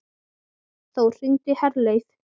Þór, hringdu í Herleif.